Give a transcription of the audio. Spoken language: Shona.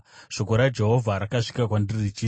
Shoko raJehovha rakasvika kwandiri richiti,